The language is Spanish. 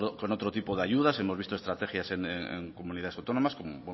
con otro tipo de ayudas hemos visto estrategias en comunidades autónomas como